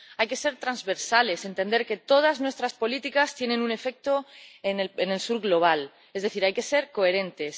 Hay que ser transversales, entender que todas nuestras políticas tienen un efecto en el sur global, es decir, hay que ser coherentes.